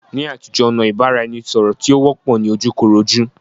Ní àtijó, ọ̀nà ìbára eni sọ̀rọ̀ tí ó wọ́pọ̀ ni ojú koró jú.